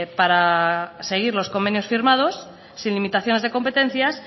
para seguir los convenios firmados sin limitaciones de competencias